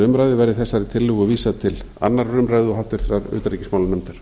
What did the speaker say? umræðu verði þessari tillögu vísað til annarrar umræðu og háttvirtrar utanríkismálanefndar